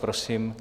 Prosím.